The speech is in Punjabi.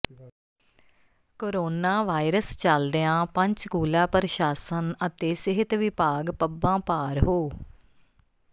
ਕੋਰੋਨਾ ਵਾਇਰਸ ਚੱਲਦਿਆਂ ਪੰਚਕੂਲਾ ਪ੍ਰਸ਼ਾਸਨ ਅਤੇ ਸਿਹਤ ਵਿਭਾਗ ਪੱਬਾਂ ਭਾਰ ਹੋ